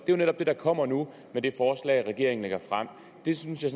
det er netop det der kommer nu med det forslag regeringen lægger frem det synes jeg